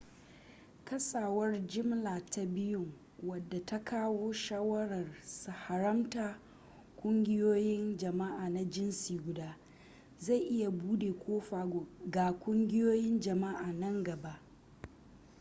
kasawar jimla ta biyun wadda ta kawo shawarar haramta ƙungiyoyin jama'a na jinsi guda zai iya bude kofa ga ƙungiyoyin jama'a nan gaba